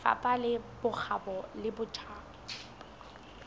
lefapha la bokgabo le botjhaba